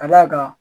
Ka d'a kan